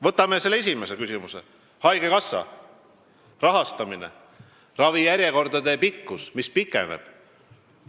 Võtame kõige esimese küsimuse: haigekassa rahastamine, ravijärjekorrad, mis on pikenenud.